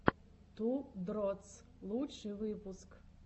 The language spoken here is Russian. ту дротс лучший выпуск